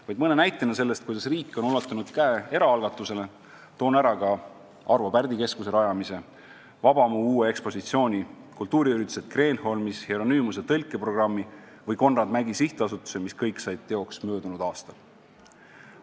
Vaid mõned näited sellest, kuidas riik on ulatanud käe eraalgatusele: Arvo Pärdi Keskuse rajamine, Vabamu uus ekspositsioon, kultuuriüritused Kreenholmis, Hieronymuse tõlkeprogramm või Konrad Mägi SA, mis kõik said teoks möödunud aastal.